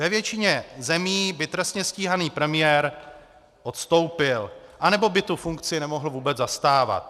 Ve většině zemí by trestně stíhaný premiér odstoupil, anebo by tu funkci nemohl vůbec zastávat.